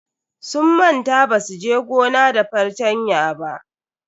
Sun manta basu je gona da fartanya ba.